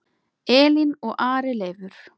Elín og Ari Leifur.